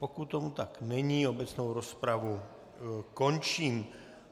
Pokud tomu tak není, obecnou rozpravu končím.